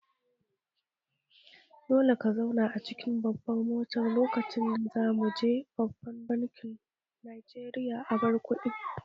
Dole ka zauna a cikin motar lokacin da za mu je babban bankin Najeriya karɓar kuɗi!